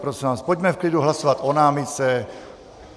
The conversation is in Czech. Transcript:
Prosím vás, pojďme v klidu hlasovat o námitce.